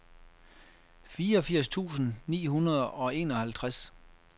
fireogfirs tusind ni hundrede og enoghalvtreds